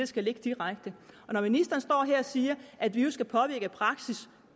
skal ligge direkte og når ministeren står her og siger at vi jo skal påvirke praksis